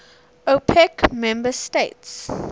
opec member states